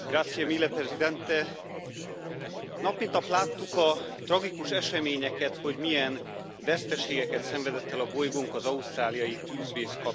Tisztelt Elnök úr! Nap mint nap láttuk a tragikus eseményeket, hogy milyen veszteségeket szenvedett el a bolygónk az ausztráliai tűzvész kapcsán.